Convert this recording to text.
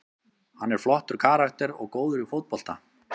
Hann er flottur karakter og góður í fótbolta.